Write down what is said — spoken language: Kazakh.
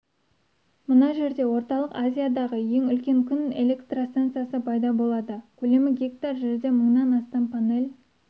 мына жерде орталық азиядағы ең үлкен күн электростансасы пайда болады көлемі гектар жерде мыңнан астам панель